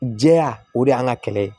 Jɛya o de y'an ka kɛlɛ ye